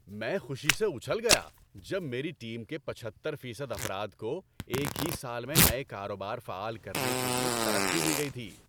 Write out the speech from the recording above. ‏میں خوشی سے اُچھل گیا جب میری ٹیم کے پچہتر فیصد افراد کو ایک ہی سال میں نئے کاروبار فعال کرنے کے لیے ترقی دی گئی تھی۔